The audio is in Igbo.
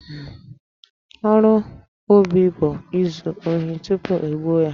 Ọrụ Obi bụ izu ohi tupu e gbuo ya